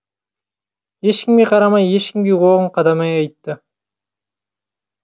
ешкімге қарамай ешкімге оғын қадамай айтты